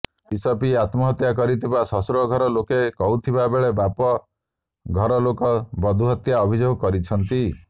ବିଷ ପିଇ ଆତ୍ମହତ୍ୟା କରିଥିବା ଶ୍ୱଶୁର ଘର ଲୋକ କହୁଥିବା ବେଳେ ବାପ ଘରଲୋକ ବଧୂହତ୍ୟା ଅଭିଯୋଗ କରିଛନ୍ତି